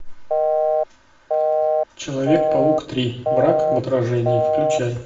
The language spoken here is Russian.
человек паук три враг в отражении включай